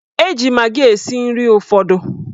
Eji magị esi nri ụfọdụ.